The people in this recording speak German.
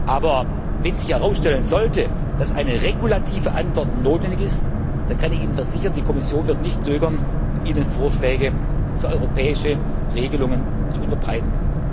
Aber wenn sich herausstellen sollte, dass eine regulative Antwort notwendig ist, dann kann ich Ihnen versichern, die Kommission wird nicht zögern, Ihnen Vorschläge für europäische Regelungen zu unterbreiten.